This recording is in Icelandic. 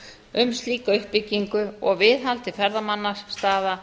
um slíka uppbyggingu og viðhald til ferðamannastaða